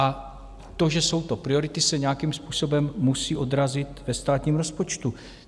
A to, že jsou to priority, se nějakým způsobem musí odrazit ve státním rozpočtu.